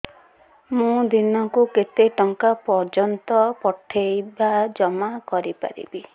ମୁ ଦିନକୁ କେତେ ଟଙ୍କା ପର୍ଯ୍ୟନ୍ତ ପଠେଇ ବା ଜମା କରି ପାରିବି